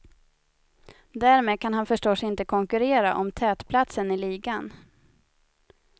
Därmed kan han han förstås inte konkurrera om tätplatsen i ligan.